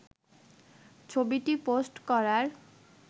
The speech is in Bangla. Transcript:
ছবিটি পোস্ট করার